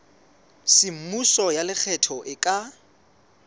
semmuso ya lekgetho e ka